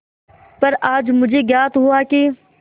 पर आज मुझे ज्ञात हुआ कि